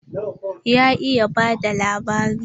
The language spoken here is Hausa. Ya iya ba da labari.